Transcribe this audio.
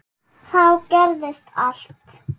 Þá gerðist allt.